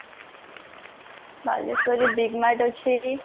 ବାଲେଶ୍ଵର ରେ big mart ଅଛି